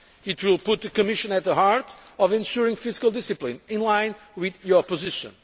so hard. It will put the Commission at the heart of ensuring fiscal discipline, in line with your